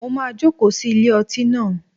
Mo máa joko sí ilé ọtí naa